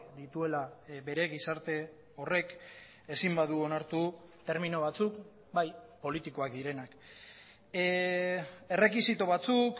dituela bere gizarte horrek ezin badu onartu termino batzuk bai politikoak direnak errekisito batzuk